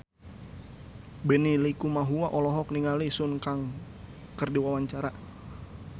Benny Likumahua olohok ningali Sun Kang keur diwawancara